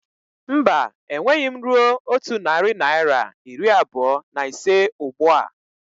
Mba, enweghị m rue otu narị naira iri abụọ na ise ụgbụa